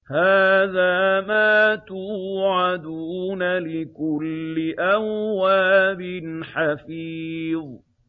هَٰذَا مَا تُوعَدُونَ لِكُلِّ أَوَّابٍ حَفِيظٍ